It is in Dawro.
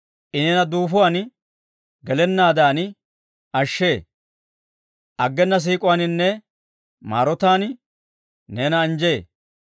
I neena duufuwaan gelennaadan ashshee; aggena siik'uwaaninne maarotaan neena anjjee.